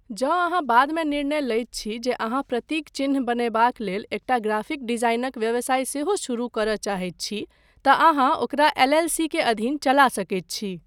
जँ अहाँ बादमे निर्णय लैत छी जे अहाँ प्रतीक चिह्न बनयबाक लेल एकटा ग्राफिक डिजाइनक व्यवसाय सेहो शुरू करय चाहैत छी, तँ अहाँ ओकरा एल.एल.सी. के अधीन चला सकैत छी।